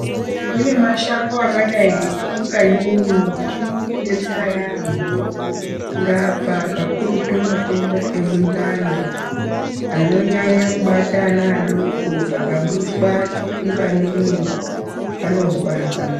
Kune mashango akadai ngechipunganyunyu chinodetsera yambho kurapa kakurutu matenda emundani anonyanya kubata ana adoko akamwiswa chipunganyunyu anozwa zvakanaka.